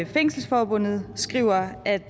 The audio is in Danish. fængselsforbundet skriver at